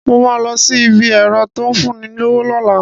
Mo ma lọ sí ibi ẹ̀rọ́ tó ń fún ni lówó lọ́la